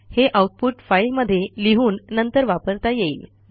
हे आऊटपुट फाईलमध्ये लिहून नंतर वापरता येईल